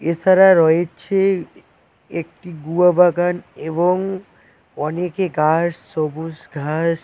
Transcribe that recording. এছাড়া রয়েছে একটি গুয়া বাগান এবং অনেকে ঘাস সবুজ ঘাস।